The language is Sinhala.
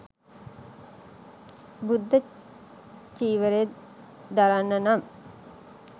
බුද්ධ චීවරය දරන්න නම්,